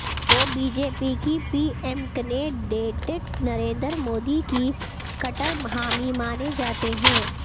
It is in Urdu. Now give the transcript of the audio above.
وہ بی جے پی کے پی ایمکنےڈڈےٹ نریندر مودی کے کٹر حامی مانے جاتے ہیں